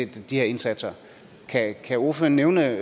de her indsatser kan ordføreren nævne